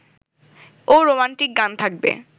ও romantic গান থাকবে